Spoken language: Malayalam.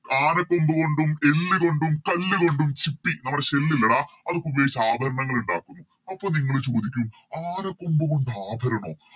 ആനക്കൊമ്പ് കൊണ്ടും എല്ലു കൊണ്ടും പല്ലുകൊണ്ടും ചിപ്പി നമ്മുടെ Shell ഇല്ലെടാ അതൊക്കെ ഉപയോഗിച്ച് ആഭരണങ്ങൾ ഇണ്ടാക്കുന്നു അപ്പൊ നിങ്ങള് ചോദിക്കും ആനക്കൊമ്പ് കൊണ്ട് ആഭരണോ